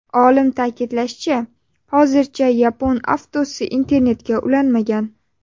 Olim ta’kidlashicha, hozircha yapon avtosi internetga ulanmagan.